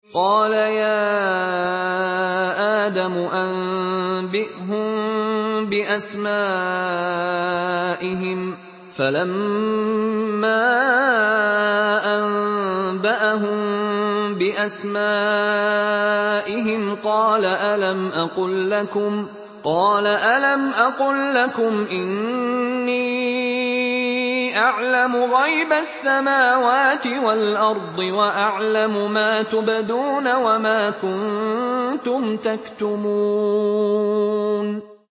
قَالَ يَا آدَمُ أَنبِئْهُم بِأَسْمَائِهِمْ ۖ فَلَمَّا أَنبَأَهُم بِأَسْمَائِهِمْ قَالَ أَلَمْ أَقُل لَّكُمْ إِنِّي أَعْلَمُ غَيْبَ السَّمَاوَاتِ وَالْأَرْضِ وَأَعْلَمُ مَا تُبْدُونَ وَمَا كُنتُمْ تَكْتُمُونَ